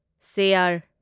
chair